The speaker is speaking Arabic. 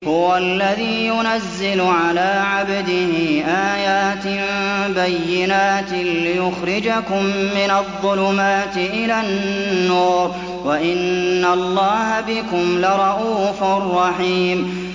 هُوَ الَّذِي يُنَزِّلُ عَلَىٰ عَبْدِهِ آيَاتٍ بَيِّنَاتٍ لِّيُخْرِجَكُم مِّنَ الظُّلُمَاتِ إِلَى النُّورِ ۚ وَإِنَّ اللَّهَ بِكُمْ لَرَءُوفٌ رَّحِيمٌ